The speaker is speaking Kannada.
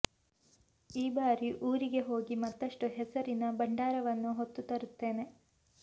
ಈ ಬಾರಿ ಊರಿಗೆ ಹೋಗಿ ಮತ್ತಷ್ಟು ಹೆಸರಿನ ಭಂಡಾರವನ್ನು ಹೊತ್ತು ತರುತ್ತೇನೆ